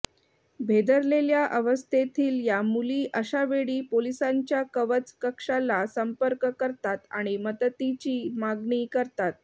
भेदरलेल्या अवस्थेतील या मुली अशावेळी पोलिसांच्या कवच कक्षाला संपर्क करतात आणि मदतीची मागणी करतात